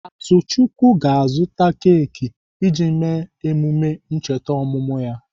Atuchukwu ga-azụta keki iji mee emume ncheta ọmụmụ ya.